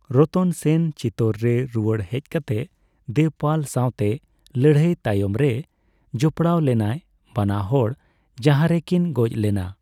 ᱨᱚᱛᱚᱱ ᱥᱮᱱ ᱪᱤᱛᱳᱨ ᱨᱮ ᱨᱩᱣᱟᱹᱲ ᱦᱮᱡᱠᱟᱛᱮ ᱫᱮᱵᱽᱯᱟᱞ ᱥᱟᱣᱛᱮ ᱞᱟᱹᱲᱦᱟᱹᱭ ᱛᱟᱯᱟᱢᱨᱮᱭ ᱡᱚᱯᱲᱟᱣ ᱞᱮᱱᱟᱭ, ᱵᱟᱱᱟ ᱦᱚᱲ ᱡᱟᱦᱟᱨᱮ ᱠᱤᱱ ᱜᱚᱡ ᱞᱮᱱᱟ ᱾